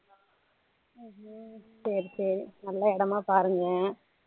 ஹம் ஹம் சரி சரி நல்லா இடமா பாருங்க